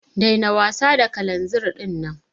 Daina wasa da kalanzir dinnan.